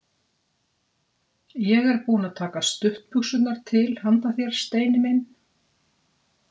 Ég er búin að taka stuttbuxurnar til handa þér, Steini minn.